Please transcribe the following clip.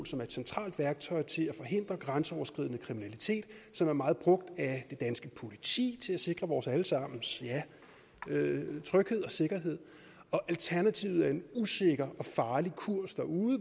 som er et centralt værktøj til at forhindre grænseoverskridende kriminalitet og som er meget brugt af det danske politi til at sikre vores alle sammens tryghed og sikkerhed alternativet er en usikker og farlig kurs derude